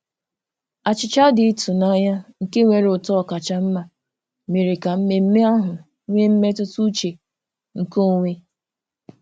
Achịcha dị ịtụnanya nke nwere ụtọ ọkacha mma mere ka mmemme ahụ nwee mmetụtauche nke onwe.